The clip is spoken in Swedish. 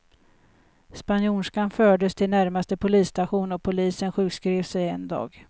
Spanjorskan fördes till närmaste polisstation och polisen sjukskrev sig en dag.